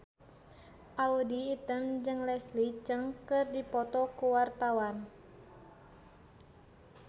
Audy Item jeung Leslie Cheung keur dipoto ku wartawan